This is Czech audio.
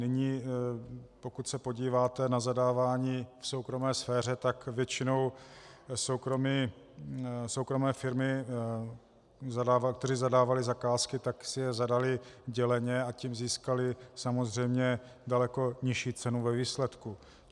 Nyní, pokud se podíváte na zadávání v soukromé sféře, tak většinou soukromé firmy, které zadávaly zakázky, tak si je zadaly děleně, a tím získaly samozřejmě daleko nižší cenu ve výsledku.